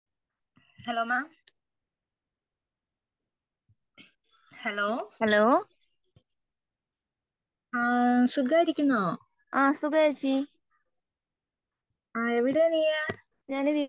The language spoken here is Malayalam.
ഹലോ മാം ഹാലോ ആ സുഖയിരിക്കുന്നോ ആ എവിടാ നീയ്